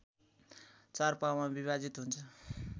चार पाउमा विभाजित हुन्छ